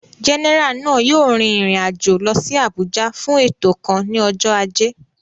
Jẹ́nẹ́rà náà yóò rin ìrìn àjò lọ sí Àbújá fún ètò kan ní ọjọ́ ajé